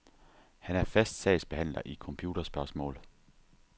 Han er fast sagsbehandler i computerspørgsmål.